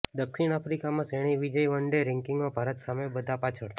દક્ષિણ આફ્રિકામાં શ્રેણી વિજયઃ વન ડે રેન્કિંગમાં ભારત સામે બધા પાછળ